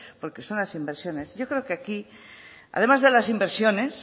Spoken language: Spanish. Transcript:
porque son las inversiones yo creo que aquí además de las inversiones